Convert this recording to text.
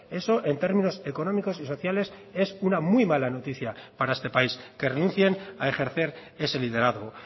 eso en términos económicos y sociales es una muy mala noticia para este país que renuncien a ejercer ese liderazgo